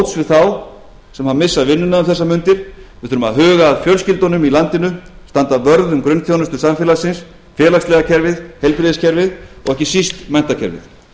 við þurfum að komast til móts við þá sem missa vinnuna um þessar mundir við þurfum að huga að fjölskyldunum í landinu standa vörð um grunnþjónustu samfélagsins félagslega kerfið heilbrigðiskerfið og ekki síst menntakerfið